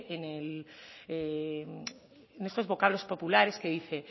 en estos vocablos populares que dice